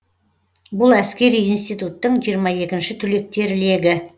бұл әскери институттың жиырма екінші түлектер легі